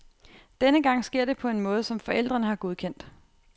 Denne gang sker det på en måde, som forældrene har godkendt.